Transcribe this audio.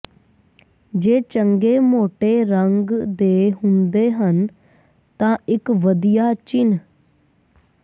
ਜੇ ਚੰਗੇ ਮੋਟੇ ਰੰਗ ਦੇ ਹੁੰਦੇ ਹਨ ਤਾਂ ਇਕ ਵਧੀਆ ਚਿੰਨ੍ਹ